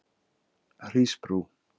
Hrísbrú